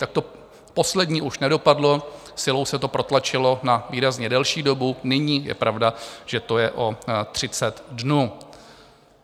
Tak to poslední už nedopadlo, silou se to protlačilo na výrazně delší dobu, nyní je pravda, že to je o 30 dnů.